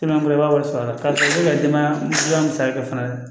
wari sara kalo ka denbaya musaka kɛ fana